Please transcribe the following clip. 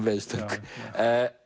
veiðistöng